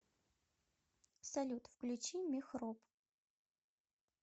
салют включи мехроб